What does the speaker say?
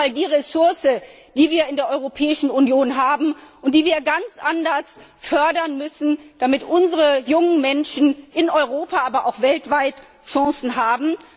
Das ist nun mal die Ressource, die wir in der Europäischen Union haben und die wir ganz anders fördern müssen, damit unsere jungen Menschen in Europa, aber auch weltweit Chancen haben.